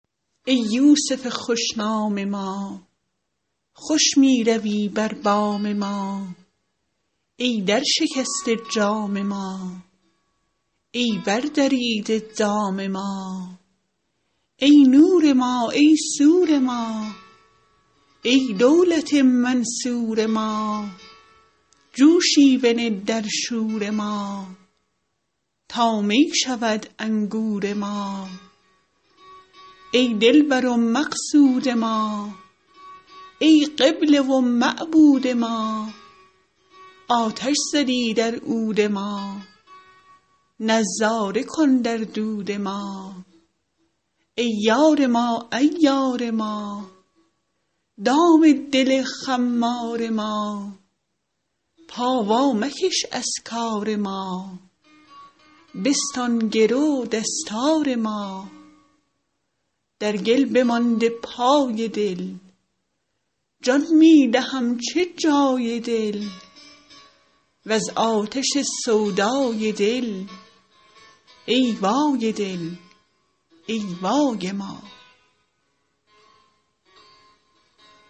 ای یوسف خوش نام ما خوش می روی بر بام ما ای درشکسته جام ما ای بردریده دام ما ای نور ما ای سور ما ای دولت منصور ما جوشی بنه در شور ما تا می شود انگور ما ای دلبر و مقصود ما ای قبله و معبود ما آتش زدی در عود ما نظاره کن در دود ما ای یار ما عیار ما دام دل خمار ما پا وامکش از کار ما بستان گرو دستار ما در گل بمانده پای دل جان می دهم چه جای دل وز آتش سودای دل ای وای دل ای وای ما